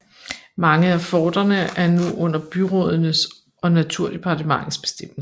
Mange af forterne er nu under byrådenes og naturdepartementets bestemmelse